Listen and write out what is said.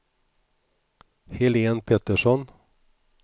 Helene Petersson